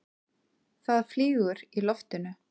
Það flýgur í loftinu.